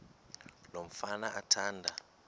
lo mfana athanda